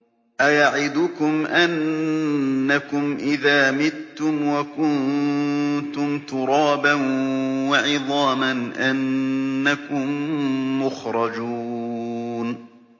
أَيَعِدُكُمْ أَنَّكُمْ إِذَا مِتُّمْ وَكُنتُمْ تُرَابًا وَعِظَامًا أَنَّكُم مُّخْرَجُونَ